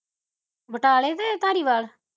ਬਟਾਲੇ ਕਿ ਧਾਰੀਵਾਲ